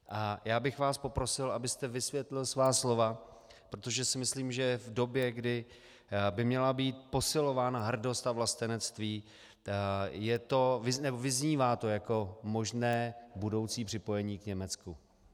A já bych vás poprosil, abyste vysvětlil svá slova, protože si myslím, že v době, kdy by měla být posilována hrdost a vlastenectví, vyznívá to jako možné budoucí připojení k Německu.